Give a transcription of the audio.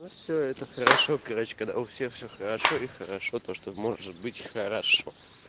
ну все это хорошо короче когда у всех все хорошо и хорошо то что может быть хорошо